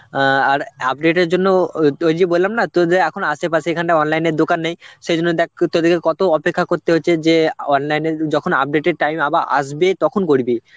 অ্যাঁ আর update এর জন্য ও~ ওই যে বললাম না তোদের এখন আশেপাশে এখানটা online এর দোকান নেই সেজন্য দেখ তোদেরকে কত অপেক্ষা করতে হচ্ছে যে online এ যখন update এর time আবার আসবে তখন করবি